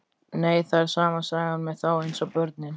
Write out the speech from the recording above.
Nei, það er sama sagan með þá eins og börnin.